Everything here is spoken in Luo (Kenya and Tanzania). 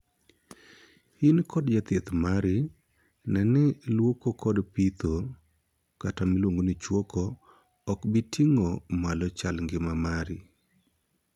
In kod jathieth mari neno ni luoko kod pitho (chuoko) ok bii ting'o malo chal ngima mari?